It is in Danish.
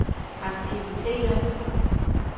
aktiviteter